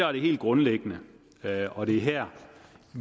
er det helt grundlæggende og det er her